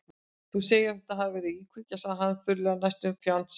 Þú segir að þetta hafi verið íkveikja- sagði hann þurrlega, næstum fjandsamlega.